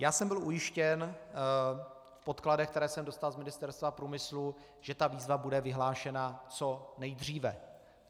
Já jsem byl ujištěn v podkladech, které jsem dostal z Ministerstva průmyslu, že ta výzva bude vyhlášena co nejdříve.